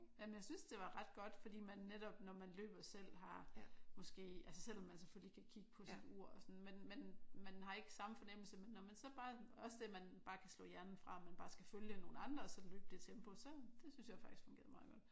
Jamen jeg syntes det var ret godt fordi man netop når man løber selv har måske altså selvom man selvfølgelig kan kigge på sit ur og sådan noget men men man har ikke samme fornemmelse men når man så bare også det at man bare kan slå hjernen fra og man bare skal følge nogle andre og så løbe det tempo så. Det syntes jeg faktisk fungerede meget godt